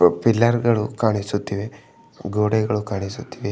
Pillar ಗಳು ಕಾಣಿಸುತ್ತಿವೆ ಗೋಡೆಗಳು ಕಾಣಿಸುತ್ತಿವೆ.